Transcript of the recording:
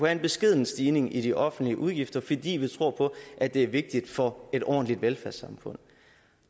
en beskeden stigning i de offentlige udgifter fordi vi tror at det er vigtigt for et ordentligt velfærdssamfund